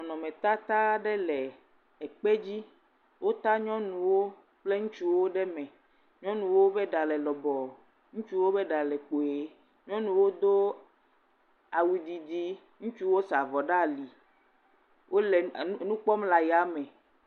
Nɔnɔmetata aɖe le ekpe dzi, wota nyɔnuwo kple ŋutsuwo ɖe me, nyɔnuwo be ɖa le lɔbɔ, ŋutsuwo be ɖa le kpui, nyɔnuwo do awu didi, ŋutsuwo sa avɔ ɖe ali, wole nu kpɔm le aya me.